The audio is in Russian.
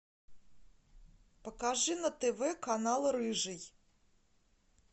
покажи на тв канал рыжий